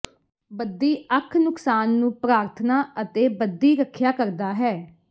ਬਦੀ ਅੱਖ ਨੁਕਸਾਨ ਨੂੰ ਪ੍ਰਾਰਥਨਾ ਅਤੇ ਬਦੀ ਰੱਖਿਆ ਕਰਦਾ ਹੈ